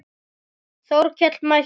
Þórkell mælti